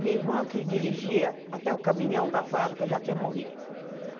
Minha irmã que dirigia até o caminhão da fábrica já tinha morrido.